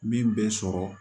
Min bɛ sɔrɔ